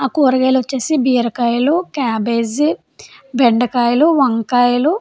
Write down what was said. ఆ కూరగాయలు వచ్చేసి బీరకాయలు క్యాబేజీ బెండకాయలు వంకాయలు --